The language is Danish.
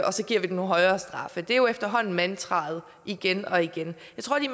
og så give nogle højere straffe det er jo efterhånden mantraet igen og igen